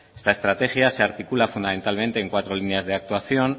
esta estrategia se articula fundamentalmente en cuatro líneas de actuación